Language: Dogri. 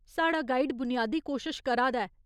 साढ़ा गाइड बुनियादी कोशश करा दा ऐ।